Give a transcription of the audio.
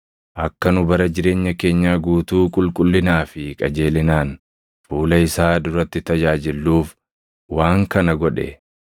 akka nu bara jireenya keenyaa guutuu qulqullinaa fi qajeelinaan, fuula isaa duratti tajaajilluuf waan kana godhe.